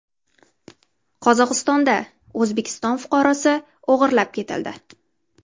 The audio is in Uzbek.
Qozog‘istonda O‘zbekiston fuqarosi o‘g‘irlab ketildi .